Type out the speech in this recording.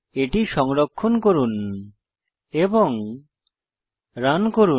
এটি সংরক্ষণ করুন এবং রান করুন